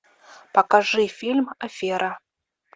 покажи фильм афера